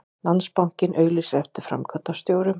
Landsbankinn auglýsir eftir framkvæmdastjórum